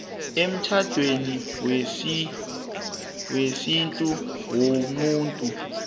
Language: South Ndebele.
emtjhadweni wesintu womuntu